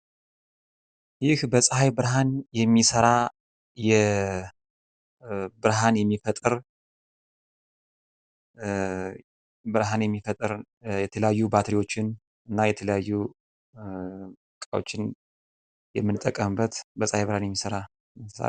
ይህ በጸሃይ ብርሀን የሚሰራ ብርሃን የሚፈጥር፣ የተለያዩ ባትሪዎችን እና የተለያዩ እቃዎችን የምንጠቀምበት በጸሃይ ብርሃን የሚሰራ ነው።